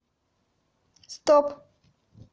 стоп